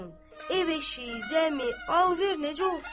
Ev eşiyi, zəmi, alver necə olsun?